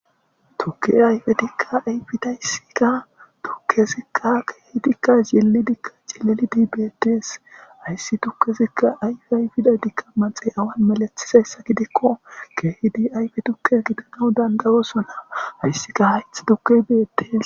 Tuke ayfetikka ayfidayssikka tukkezikqa keehidikka jilli dikka cilelidi bettees hayssi tukkezikka ayfe ayfida dikka maxey awan malethisayssa gidikko keehidi ayfe tukke gidanaw dandawosona hayssika hayth duke beettees